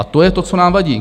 A to je to, co nám vadí.